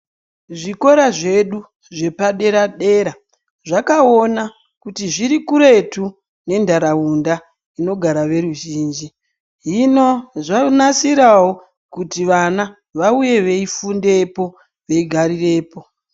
Zvikora zvedu zvepadera dera zvakaona kuti zviri kuretu nentaraunda inogara veruzhinji hino zvonasiraeo kuti vana vauye veifundepo veigarirepo.